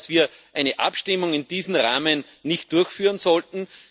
Ich glaube, dass wir eine Abstimmung in diesem Rahmen nicht durchführen sollten.